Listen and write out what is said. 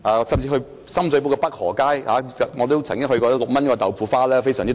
在深水埗北河街，我曾經品嘗6元一碗的豆腐花，非常超值。